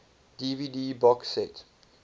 dvd box set